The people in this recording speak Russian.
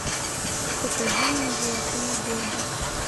покажи мне золотые годы